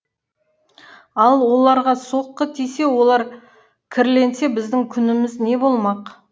ал оларға соққы тисе олар кірленсе біздің күніміз не болмақ